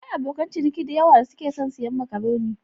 Akwai abokan ciniki da yawa da suke son siyan makaroni.